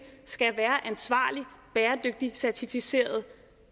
skal være ansvarlig bæredygtig og certificeret